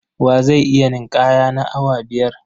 Wa zai iya ninƙaya na awa biyar?